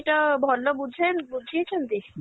ତ ଭଲ ବୁଝା ବୁଝେଇଛନ୍ତି?